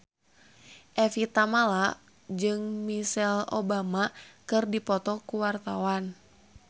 Evie Tamala jeung Michelle Obama keur dipoto ku wartawan